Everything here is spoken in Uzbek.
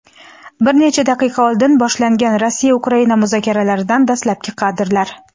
Bir necha daqiqa oldin boshlangan Rossiya-Ukraina muzokaralaridan dastlabki kadrlar.